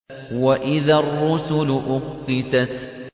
وَإِذَا الرُّسُلُ أُقِّتَتْ